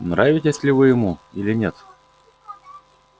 нравитесь ли вы ему или нет